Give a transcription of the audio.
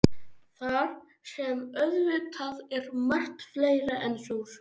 Þar sem auðvitað er margt fleira en sósur.